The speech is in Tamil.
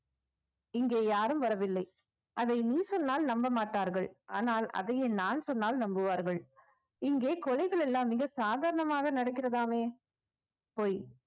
இங்கே யாரும் வரவில்லை அதை நீ சொன்னால் நம்ப மாட்டார்கள் ஆனால் அதையே நான் சொன்னால் நம்புவார்கள் இங்கே கொலைகள் எல்லாம் மிக சாதாரணமாக நடக்கிறதாமே பொய்